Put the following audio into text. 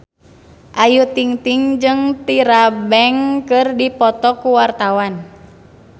Ayu Ting-ting jeung Tyra Banks keur dipoto ku wartawan